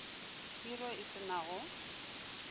khiro e se na go